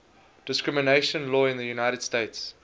discrimination law in the united states